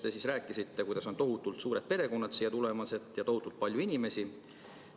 Te rääkisite, kuidas on tohutult suured perekonnad siia tulemas ja tohutult palju inimesi.